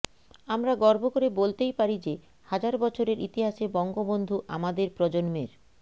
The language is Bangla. আমরা গর্ব করে বলতেই পারি যে হাজার বছরের ইতিহাসে বঙ্গবন্ধু আমাদের প্রজন্মের